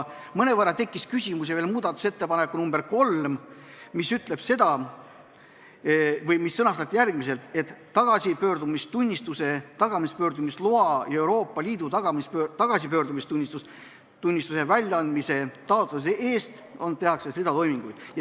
Mõnevõrra tekitas küsimusi muudatusettepanek nr 3, mis sõnastati järgmiselt, et tagasipöördumistunnistuse, tagasipöördumise loa ja Euroopa Liidu tagasipöördumistunnistuse väljaandmise taotluse läbivaatamise eest ...